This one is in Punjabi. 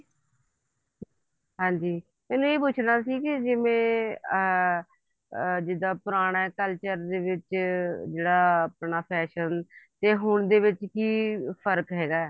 ਮੈਂ ਇਹ ਪੁੱਛਣਾ ਸੀਗਾ ਕੇ ਮੈਂ ਅਮ ਜਿੱਦਾਂ ਪੁਰਾਣੇ culture ਦੇ ਵਿੱਚ ਜਿਹੜਾ ਆਪਣਾ fashion ਤੇ ਹੁਣ ਦੇ ਵਿੱਚ ਕੀ ਫ਼ਰਕ ਹੈਗਾ